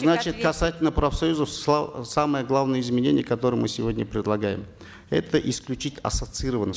значит касательно профсоюзов самые главные изменения которые мы сегодня предлагаем это исключить ассоциированность